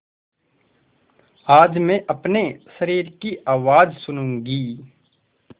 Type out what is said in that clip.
आज मैं अपने शरीर की आवाज़ सुनूँगी